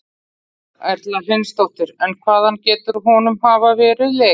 Erla Hlynsdóttir: En hvaðan getur honum hafa verið lekið?